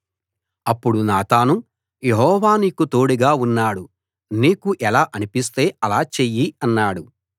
అప్పుడు నాతాను యెహోవా నీకు తోడుగా ఉన్నాడు నీకు ఎలా అనిపిస్తే అలా చెయ్యి అన్నాడు